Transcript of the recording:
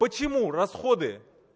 почему расходы